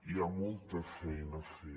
hi ha molta feina a fer